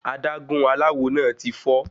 Adágún aláwo náà ti fọ́.